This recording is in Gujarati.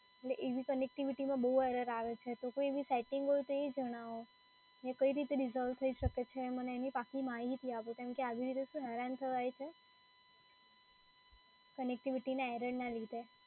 એવી connectivity માં બઉ error આવે છે. તો કોઈ એવી સેટિંગ હોય તો એ જણાવો ને કઈ રીતે resolve થઈ શકે છે એની મને પાકી માહિતી આપો કેમ કે આવી રીતે હેરાન થવાય છે connectivity ના error ના લીધે.